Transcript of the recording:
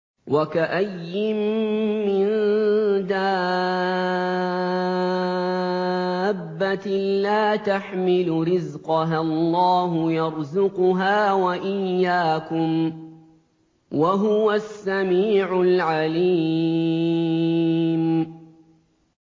وَكَأَيِّن مِّن دَابَّةٍ لَّا تَحْمِلُ رِزْقَهَا اللَّهُ يَرْزُقُهَا وَإِيَّاكُمْ ۚ وَهُوَ السَّمِيعُ الْعَلِيمُ